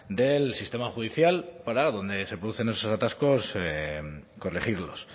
del sistema judicial para donde se producen esos atascos corregirlos